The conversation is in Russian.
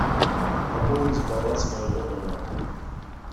пополнить баланс моего номера